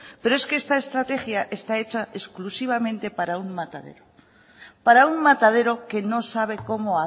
pero es que esta estrategia está hecha exclusivamente para un matadero para un matadero que no sabe cómo